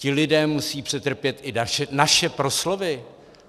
Ti lidé musejí přetrpět i naše proslovy.